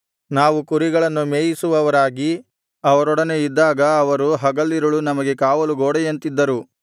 ನಾವು ಕುರಿಗಳನ್ನು ಮೇಯಿಸುವವರಾಗಿ ಅವರೊಡನೆ ಇದ್ದಾಗ ಅವರು ಹಗಲಿರುಳು ನಮಗೆ ಕಾವಲು ಗೋಡೆಯಂತಿದ್ದರು